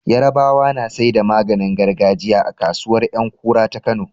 Yarabawa na saida maganin gargajiya a kasuwar Yankura ta kano